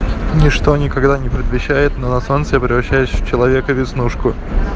ничто никогда не предвещает но на солнце я превращаюсь в человека веснушку